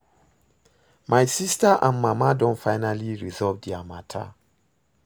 My sister and my mama don finally resolve their matter